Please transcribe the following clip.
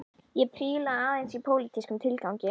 Ég príla aðeins í pólitískum tilgangi